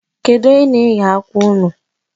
Kedu onye na-eghe akwa ahụ?